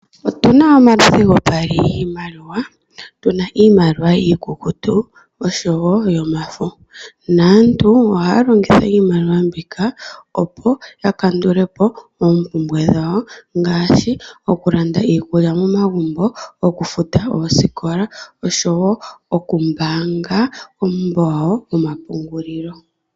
Otu na omaludhi gopaali giimaliwa. Tu na iimaliwa iikukutu osho wo yomafo. Naantu ohaya longitha iimaliwa mbika opo ya kandule po oompumbwe dhawo ngaashi okulanda iikulya momagumbo, okufuta oosikola osho wo okumbaanga kuumbo wawo womapungulilo.